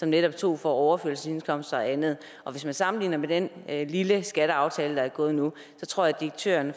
netop tog fra overførselsindkomster og andet og hvis man sammenligner med den lille skatteaftale der er indgået nu så tror jeg at direktøren